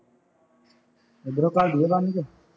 ਇਧਰੋ ਘੱਲ ਦੇਈਏ ਬੰਨ ਕੇ